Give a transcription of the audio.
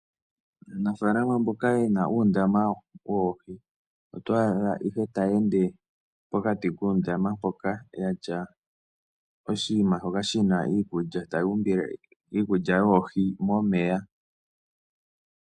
Aanafaalama mboka yena uundama woohi, otwa adha ihe taye ende pokati kuundama mpoka yatya oshinima shoka shina iikulya, taya umbile iikulya yoohi momeya.